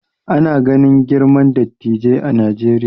Ana ganin girman dattijai a Najeriya